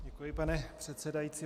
Děkuji, pane předsedající.